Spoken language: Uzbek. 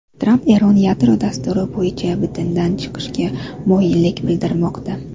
Tramp Eron yadro dasturi bo‘yicha bitimdan chiqishga moyillik bildirmoqda.